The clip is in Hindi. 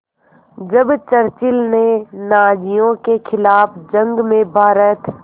जब चर्चिल ने नाज़ियों के ख़िलाफ़ जंग में भारत